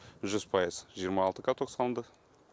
жүз пайыз жиырма алты каток салынды